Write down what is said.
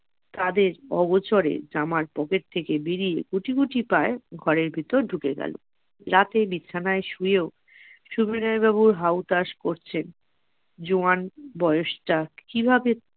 তাদের অগোছরে জামার pocket থেকে বেরিয়ে কুচি কুচি পায় ঘরের ভেতর ঢুকে গেল রাতে বিছানায় শুয়ে ও সুবিনয় বাবু হাউ তাস করছেন জোয়ান বয়সটা তার কিভাবে